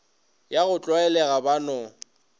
ya go tlwaelega ba no